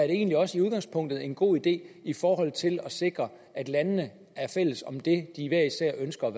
egentlig også i udgangspunktet en god idé i forhold til at sikre at landene er fælles om det de hver især ønsker